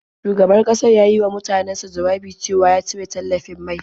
Shugaban ƙasar ya yi wa mutanansa jawabi cewa ya cire tallafin mai.